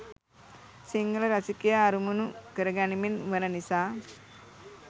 සිංහල රසිකයා අරමුණු කරගනිමින් වන නිසා.